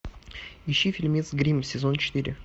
ищи фильмец гримм сезон четыре